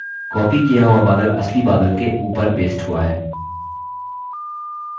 copied किया हुआ बादल असली बादल के ऊपर pasted हुआ है!